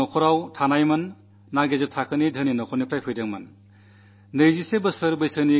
അദ്ദേഹം വലിയ നഗരത്തിലൊന്നും ജീവിക്കുന്ന ആളല്ല മധ്യവർഗ്ഗസമ്പന്ന കുടുംബത്തിലെ ആളുമല്ല